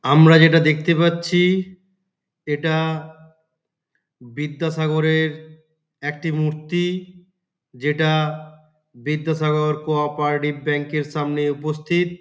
আমরা যেটা দেখতে পাচ্ছি-ই এটা বিদ্যাসাগরের একটি মূর্তি যেটা বিদ্যাসাগর কো অপারেটিভ ব্যাংক -এর সামনে উপস্থিত।